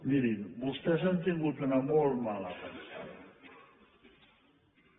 mirin vostès han tingut una molt mala pensada